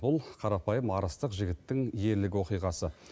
бұл қарапайым арыстық жігіттің ерлік оқиғасы